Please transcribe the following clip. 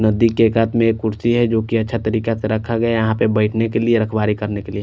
नड्डी के एक हाथ में कुर्सी है जो की छतरी का यहाँ रखा गया है यहाँ पर बेठने के लिए --